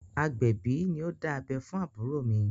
Agbẹ̀bí ni ó dá abẹ́ fún àbúrò mi.